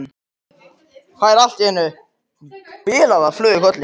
Fær allt í einu bilaða flugu í kollinn.